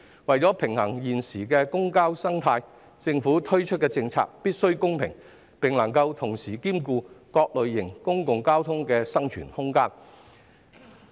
為了平衡現時的公共交通生態，政府推出的政策必須公平，並能同時兼顧各類型公共交通的生存空間。